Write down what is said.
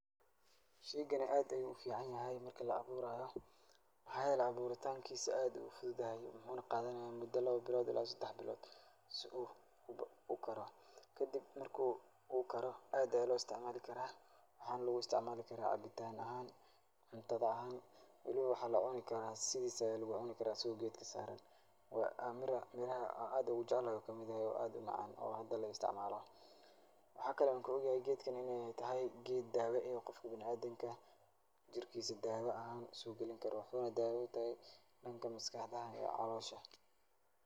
Shaygani aad ayuu uficanyahay marka la'abuuraayo. Maxaa yeelay abuuritaankiisa aad ayuu ufududyahay waxuuna qaadanayaa mudo laba ila sedax bilood si uu ukaro. Kadib marka uu karo aad ayaa loo istacmaali karaa. Waxaana lugu istacmaali karaa cabitaan ahaan, cuntada ahaan, weli waxaa la'cuni karaa sidiisa ayaa lagu cuni karaa asigoo geedka saaran. Oo miro miro aan aad ugu jeclahay uu kamid yahay oo aad u macaan oo hada la'istacmaalo. Waxaa kale aan kaog yahay in ay tahay geed daawo eh oo qofka bina'aadinka jirkiisa daawa ahaan u soo galinkaro. Waxuuna daawo u tahay dhanka maskaxda iyo caloosha.